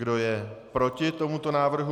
Kdo je proti tomuto návrhu?